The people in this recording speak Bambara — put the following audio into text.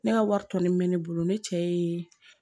Ne ka wari tɔ min bɛ ne bolo ne cɛ ye